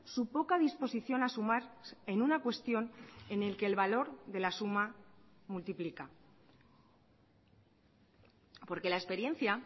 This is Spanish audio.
su poca disposición a sumar en una cuestión en el que el valor de la suma multiplica porque la experiencia